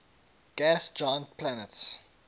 gas giant planets